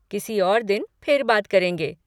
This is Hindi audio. किसी और दिन फिर बात करेंगे।